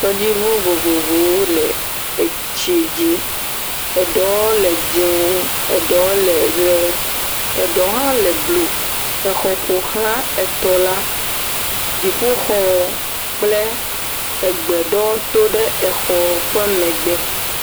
tɔdziʋu vovovowo le etsi dzi eɖowo le dzɛ̃ eɖewo le ɣe eɖewo hã le blu exɔ ƒoxlã etɔ la dziƒoxɔ kple egbe ɖewo tó ɖe exɔ ƒe megbe